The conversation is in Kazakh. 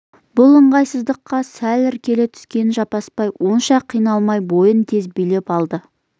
бұл ыңғайсыздыққа сәл іркіле түскен жаппасбай онша қиналмай бойын тез билеп алды